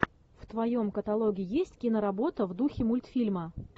в твоем каталоге есть киноработа в духе мультфильма